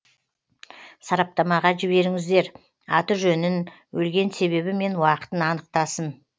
сараптамаға жіберіңіздер аты жөнін өлген себебі мен уақытын анықтасын